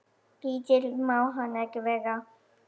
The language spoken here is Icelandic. Lítill má hann ekki vera.